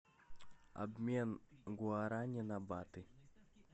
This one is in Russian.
обмен гуарани на баты